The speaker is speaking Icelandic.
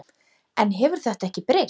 En hefur þetta ekki breyst?